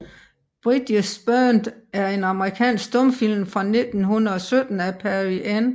Bridges Burned er en amerikansk stumfilm fra 1917 af Perry N